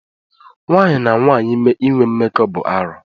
Nwaanyị na nwaanyị inwe mmekọ bụ arụ.